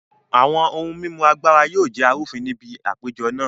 Àwọn ohun mímu Agbára yóò jẹ́ arúfin ní bi àpéjọ na